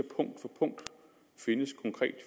synes